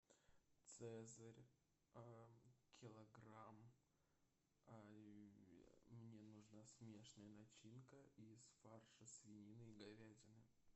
цезарь килограмм мне нужна смешанная начинка из фарша свинины и говядины